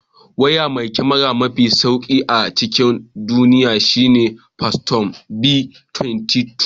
Waya mai kyamara mafi sauri a cikin duniya shine fantom v2012.